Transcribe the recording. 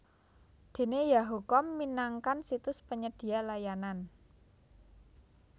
Dene yahoo com minangkan situs penyedia layanan